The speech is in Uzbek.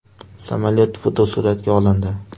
Samolyot fotosuratga olindi.